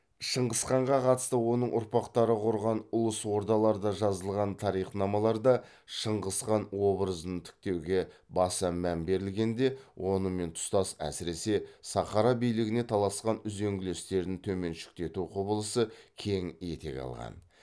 шыңғысханға қатысты оның ұрпақтары құрған ұлыс ордаларда жазылған тарихнамаларда шыңғысхан обыразын тіктеуге баса мән берілгенде онымен тұстас әсіресе сахара билігіне таласқан үзеңгілестерін төменшіктету құбылысы кең етек алған